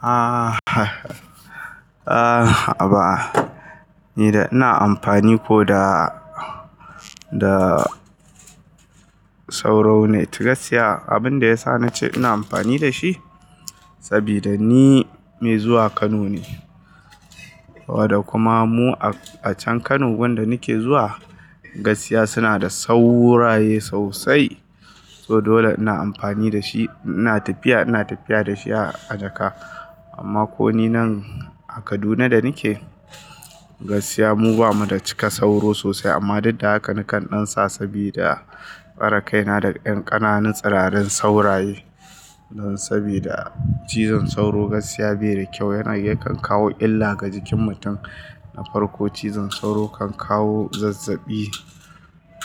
Aha a haba ni da ina amfani ko da, da sauro net gaskiya abin da ya sa nace ina amfani da shi sabida ni mai zuwa Kano ne saboda kuma mu a a can Kano wanda nake zuwa gaskiya suna da sauro raye sosai. To dole ina amfani da shi, ina tafiya, ina tafiya da shi a jaka amma ko ninan a Kaduna da nake, gaskiya mu bamu da cika sauro sosai amma duk da haka nakan ɗansa sabida tsare kaina daga ƴan ƙananan tsirarin sauraye. Sabida cizon sauro gaskiya bai da kyau yana ya kan kawo illa ga jikin mutum na farko cizon sauro kan kawo zazzaɓi,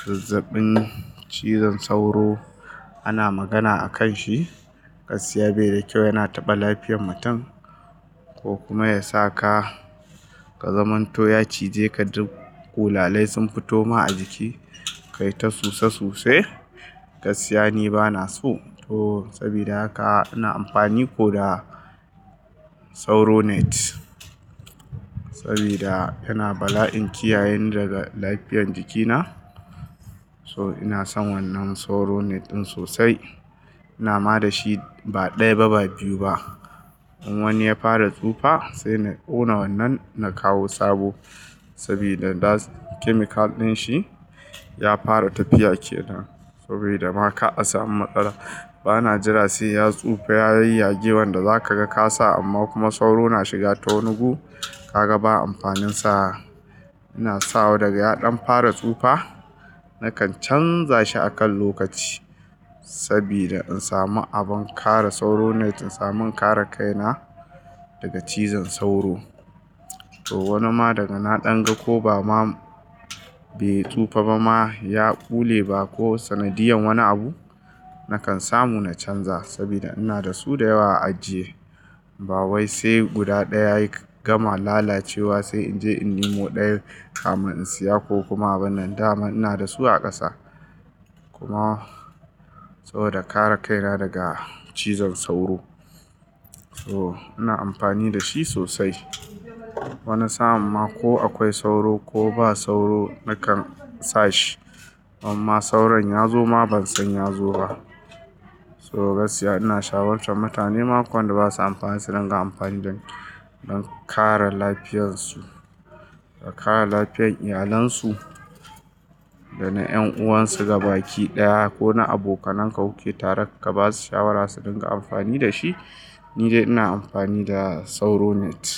zazzaɓin cizon sauro ana magana akan shi gaskiya bai da kyau yana taɓa lafiyar mutum ko kuma yasa ka, ka zamanto ya cije ka duk ƙulalai sun fito ma a jiki kai ta suse suse. Gaskiya ni bana so to sabida haka ina amfani ko da sauro net sabida yana bala'in kiyayeni daga lafiyan jikina. So ina son wannan sauro net ɗin sosai. Ina ma da shi ba ɗaya ba, ba biyu ba in wani ya fara tsufa sai na ƙona wannan na kawo sabo sabida daz chemical ɗin shi ya fara tafiya ke nan sabida ma ka asami matsala bana jira sai ya tsufa, ya yayyage wanda zaka ga ka sa amma kuma sauro na shiga ta wani gu ka ga ba amfanin sa. Ina sawa daga ya ɗan fara tsufa nakan canza shi akan lokaci sabida in samu abin kare sauro net in samu in kare kaina daga cizon sauro. To wani ma daga na ɗan ga ko ba ma bai tsufa ba ma ya bule ba ko sanadiyan wani abu nakan samu na canza sabida ina da su da yawa a ajiye. Ba wai sai guda ɗaya ya gama lalacewa sai in je in nemo ɗayan kamin in siya ko kuma abinnan daman ina da su a ƙasa kuma saboda kare kaina daga cizon sauro. To ina amfani da shi sosai wani sa'an ma ko akwai sauro ko ba sauro nakan sa shi. Imma sauron ya zo ma bansan ya zo ba. To gaskiya ina shawartar mutane ma ko wanda basu amfani su ringa amfani don, don kare lafiyansu da kare lafiyan iyalansu da na ƴan'uwansu gabaki ɗaya ko na abokananka kuke tare ka basu shawara su ɗinga amfani da shi. Ni dai ina amfani da sauro net.